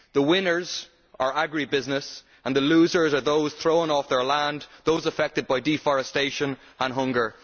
The winners are agri business and the losers are those thrown off their land and those affected by deforestation and hunger.